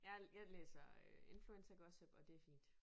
Jeg jeg læser øh influencergossip og det fint